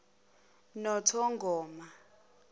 nothongoma